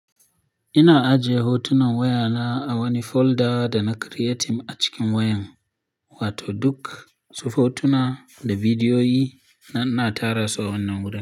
Ina ajiye hotunan wayana a wani folder da na creating a cikin wayan, wato duk su hotuna da bidiyoyi na, na tara su a wannan wurin.